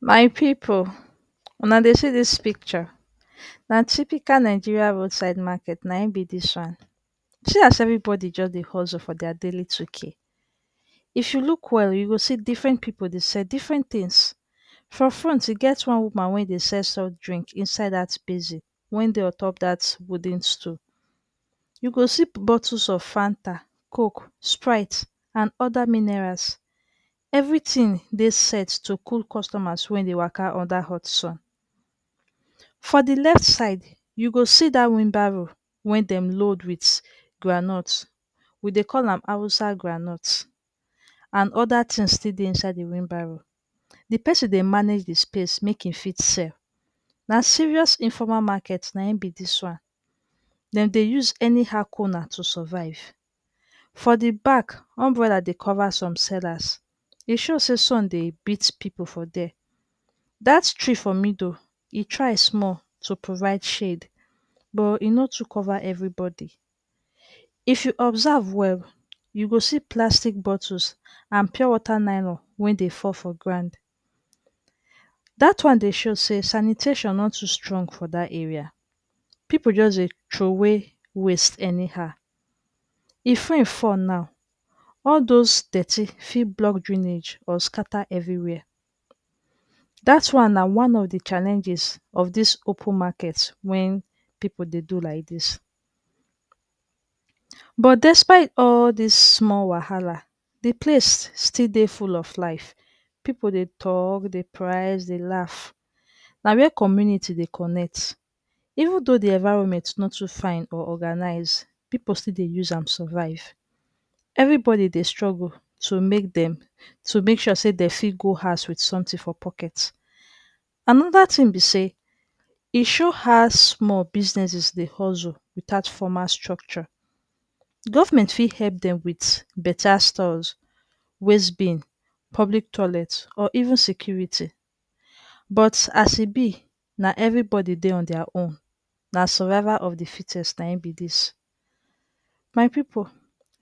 My pipu, una dey see dis picture, na typical Nigerian roadside market na im be dis one. See as evribodi just dey hustle for dia daily 2k. If you look well, you go see diffren pipu dey sell diffren tins. For front e get one woman wen dey sell soft drinks inside dat basin wen dey untop dat wooden stool. You go see bottles of Fanta, Coke, Sprite and oda minerals. Evritin dey set to cool customers wen dey waka under hot sun. For di left side, you go see dat wheenbarrow wen dem load wit groundnut. We dey call am Hausa groundnut. And oda tins still dey inside di wheenbarrow. Di pesin dey manage di space make im fit sell. Na serious informal market na im be dis one. Dem dey use anyhow corner to survive. For di back, umbrella dey cover some sellers. E show say sun dey beat pipu for dere. Dat tree for middle, e try sumol to provide shade. Buh e no too cover evribodi. If you observe well, you go see plastic bottles and pure water nylon wen dey fall for ground. Dat one dey show say sanitation no too strong for da area. Pipu just dey troway waste anybow. If rain fall now, all those detty fit block drainage or scatter evriwhere. Dat one na one of di challenges of dis open market wen pipu dey do like dis. But despite all dis sumol wahala, di place still dey full of life. Pipu dey talk, dey price, dey laugh. Na wia community dey connect. Even though di environment no too fine or organize, pipu still dey use am survive. Evribodi dey struggle to make dem to make sure say dem fit go house with sumtin for pocket. Anoda tin be say, e show how sumol businesses dey hustle without formal structure. Govment fit hep dem wit beta stores, waste bin, public toilet or even security. But as e be, na evribodi dey on dia own. Na survival of di fittest na im be dis. My pipu,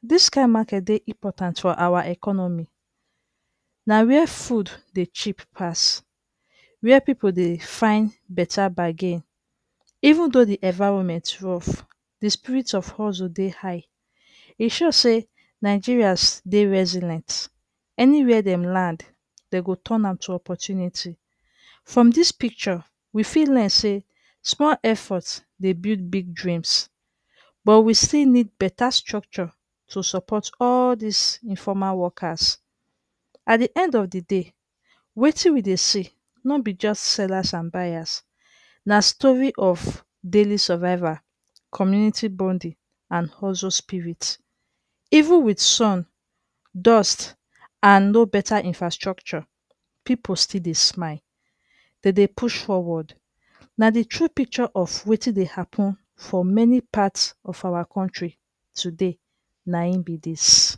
dis kain market dey important for awa economy. Na wia food dey cheap pass, wer pipu dey find beta bargain. Even though di environment rough, di spirit of hustle dey high. E show say Nigerians dey resilent. Anywhere dem land, dem go turn am to oppurtunity. From dis picture, we fit learn say sumol effort dey build big dreams. But we still need better structure to support all dis informal wokas. At di end of di day, wetin we dey see no be just sellers and buyers, na story of daily survival, community bonding and hustle spirit. Even wit sun, dust and no better infrastructure, pipu still dey smile dey dey push forward. Na di true picture of wetin dey happun for many parts of awa kontri today na im be dis.